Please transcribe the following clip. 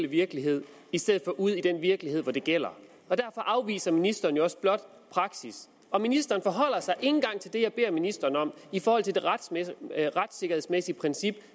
virkelighed i stedet for ude i den virkelighed hvor det gælder og derfor afviser ministeren jo også blot praksis og ministeren forholder sig ikke engang til det jeg beder ministeren om i forhold til det retssikkerhedsmæssige princip